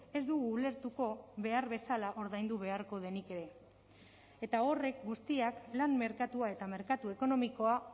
ez dugu ulertuko behar bezala ordaindu beharko denik ere eta horrek guztiak lan merkatua eta merkatu ekonomikoa